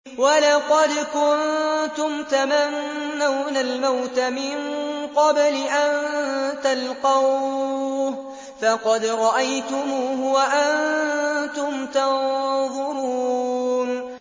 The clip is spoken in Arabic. وَلَقَدْ كُنتُمْ تَمَنَّوْنَ الْمَوْتَ مِن قَبْلِ أَن تَلْقَوْهُ فَقَدْ رَأَيْتُمُوهُ وَأَنتُمْ تَنظُرُونَ